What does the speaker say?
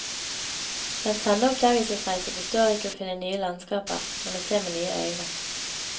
Den sanne oppdagelsesreise består ikke i å finne nye landskaper, men å se med nye øyne.